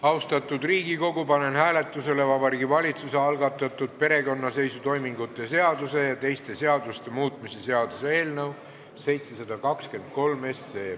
Austatud Riigikogu, panen hääletusele Vabariigi Valitsuse algatatud perekonnaseisutoimingute seaduse ja teiste seaduste muutmise seaduse eelnõu 723.